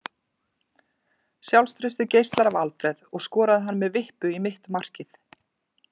Sjálfstraustið geislar af Alfreð og skoraði hann með vippu í mitt markið.